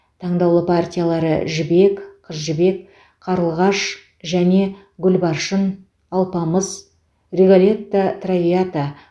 таңдаулы партиялары жібек қыз жібек қарлығаш және гүлбаршын алпамыс риголетто травиата